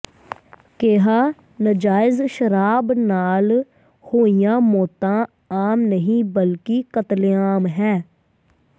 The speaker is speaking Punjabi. ਕਿਹਾ ਨਜਾਇਜ਼ ਸ਼ਰਾਬ ਨਾਲ ਹੋਈਆਂ ਮੌਤਾਂ ਆਮ ਨਹੀਂ ਬਲਕਿ ਕਤਲੇਆਮ ਹੈ